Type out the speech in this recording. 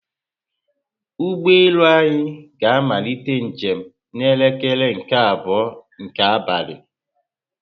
ụgbọelu anyị ga amalite njem na elekere nke abụọ nke abalị